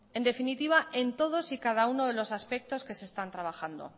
en definitiva en todos y cada uno de los aspectos que se están trabajando